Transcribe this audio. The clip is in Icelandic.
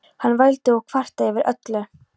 Hann vældi og kvartaði yfir öllu.